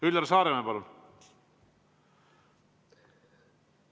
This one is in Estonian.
Üllar Saaremäe, palun!